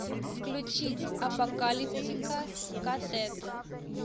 включить апокалиптика ка тет